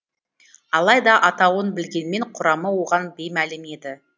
алайда атауын білгенмен құрамы оған беймәлім еді